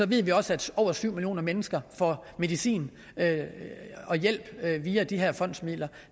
ved vi også at over syv millioner mennesker får medicin og hjælp via de her fondsmidler og